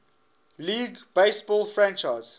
league baseball franchise